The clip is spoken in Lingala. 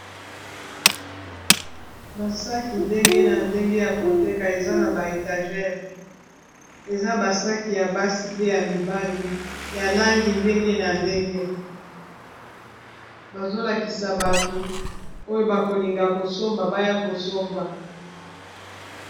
basaki ndenge na ndenge ya koteka eza na ba étagere eza basaki ya basi pe ya mibali ya langi ndenge na ndenge bazolakisa bato oyo bakolinga kosomba baya kosomba